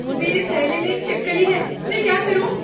मेरे थैले में एक छिपकली है। मैं क्या करूँ?